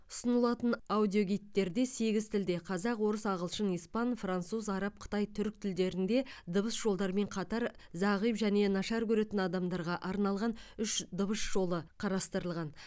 ұсынылатын аудиогидтерде сегіз тілде қазақ орыс ағылшын испан француз араб қытай түрік тілдерінде дыбыс жолдарымен қатар зағип және нашар көретін адамдарға арналған үш дыбыс жолы қарастырылған